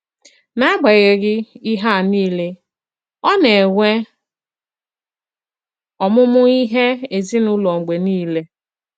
N’agbanyeghị ihé a niile, ọ na-enwè ọmụ́mụ́ ihé èzìnùlò mg̀bè niile.